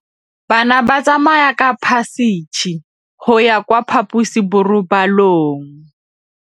Bana ba tsamaya ka phašitshe go ya kwa phaposiborobalong.